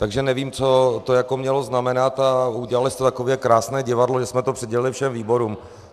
Takže nevím, co to jako mělo znamenat, a udělali jste takové krásné divadlo, že jsme to přidělili všem výborům.